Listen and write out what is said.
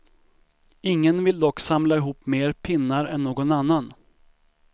Ingen vill dock samla ihop mer pinnar än någon annan.